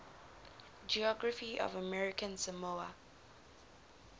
geography of american samoa